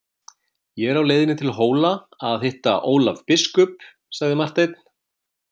Ég er á leiðinni til Hóla að hitta Ólaf biskup, sagði Marteinn.